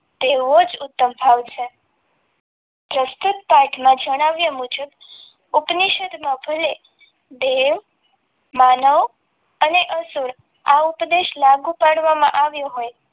તેઓ જ ઉત્તમ ભાવ છે પ્રસ્તુત પાઠમાં જણાવ્યા મુજબ ઉપનિષદમાં ભલે ધ્યેય માનવ અને અસુર આ ઉપદેશ લાગુ પાડવામાં આવ્યો હોય